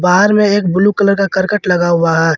Are में एक blue colour का करकट लगा हुआ है।